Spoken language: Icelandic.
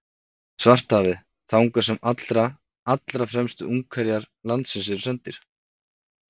Svartahafið, þangað sem allra, allra fremstu ungherjar landsins eru sendir.